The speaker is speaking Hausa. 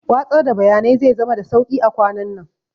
Watsar da bayanai zai zama da sauƙi a kwanannan